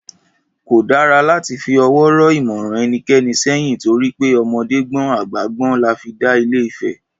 Kò dára láti fi ọwọ́ rọ́ ìmọ̀ràn ẹnikẹni sẹ́yìn torí pé ọmọdé gbọ́n àgbà gbọ́n là fi dá Ile-Ifẹ̀